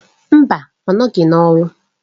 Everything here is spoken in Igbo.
Mba! ọ nọghị n'ọrụ.